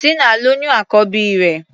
Tínà lóyún àkọ́bí rẹ̀.